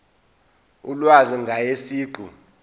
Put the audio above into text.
ulwazi ngaye siqu